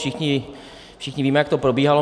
Všichni víme, jak to probíhalo.